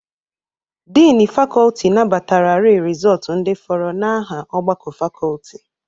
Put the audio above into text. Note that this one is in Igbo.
Dịnị fakọltị nabatararị rịzọọtụ ndị fọrọ n'aha ọgbakọ fakọltị.